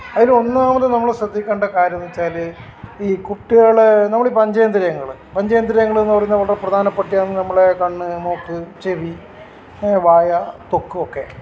അതിലൊന്നാമത് നമ്മൾ ശ്രദ്ധിക്കേണ്ട കാര്യം എന്ന് വച്ചാൽ ഈ കുട്ട്യേളെ നമ്മൾ പഞ്ചതന്ത്രിയങ്ങൾ പഞ്ചതന്ത്രിയങ്ങൾഎന്ന് പറയുന്നത് വളരെ പ്രധാനപ്പെട്ടയാണ് നമ്മൾ കണ്ണ് മൂക്ക് ചെവി വായ് തൊക്ക് ഒക്കെ